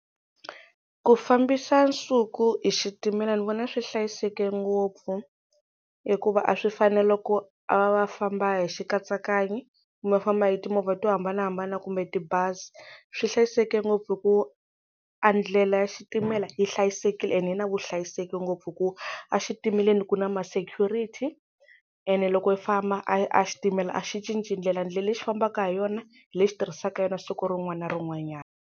Ku fambisa Nsuku hi xitimela ni vona swi hlayiseke ngopfu hikuva a swi fani na loko a va a famba hi xikanyakanya kumbe a famba hi timovha to hambanahambana kumbe tibazi swi hlayiseke ngopfu hi ku a ndlela ya xitimela yi hlayisekile ene yi na vuhlayiseki ngopfu ku exitimeleni ku na ma security ene loko yi famba a a xitimela a xi cinci ndlela ndlela lexi fambaka hi yona hi lexi tirhisaka yona siku rin'wana na rin'wanyana.